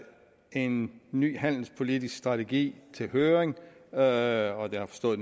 en ny handelspolitisk strategi til høring høring jeg har forstået